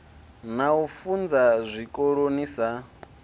na u funza zwikoloni sa